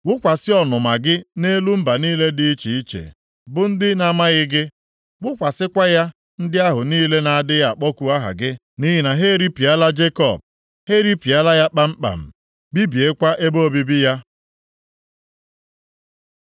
Wụkwasị ọnụma gị nʼelu mba niile dị iche iche bụ ndị na-amaghị gị, wụkwasịkwa ya ndị ahụ niile na-adịghị akpọku aha gị. Nʼihi na ha eripịala Jekọb, ha eripịala ya kpamkpam, bibiekwa ebe obibi ya.